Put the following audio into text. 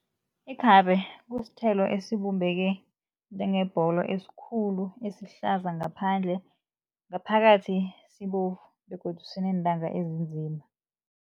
Ikhabe kusithelo esibumbeke njengebholo esikhulu esihlaza ngaphandle, ngaphakathi sibovu begodu sineentanga ezinzima.